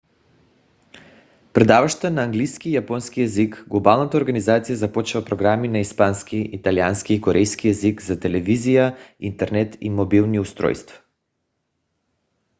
предаваща на английски и японски език глобалната организация започва програми на испански италиански и корейски език за телевизия интернет и мобилни устройства